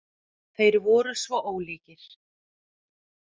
Þeir voru svo ólíkir.